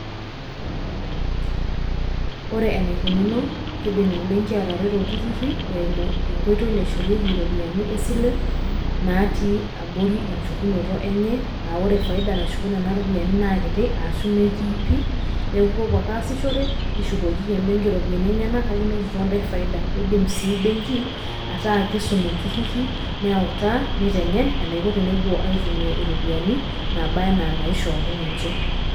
ore enaikununo kidim ebenki atareto iltururi, eimu enkoitoi naishorieki iropiyiani esile, natii abori enchukunoto enye. ore faida nashuku nena ropiyiani, naa kiti ashu metiii pi.neeku ipopuo ake asishore nishukoki embenki iropiyiani enyenak kake inotito intae faidda. eidim sii benki, ataa kisum iltururi, neutaa nitengen anaiko tenepuo aitumia iropiyiani naaba anaa inashooki ninche.